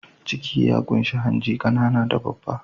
Ciki ya ƙunshi hanji, ƙanana da babba.